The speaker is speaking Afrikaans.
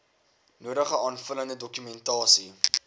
nodige aanvullende dokumentasie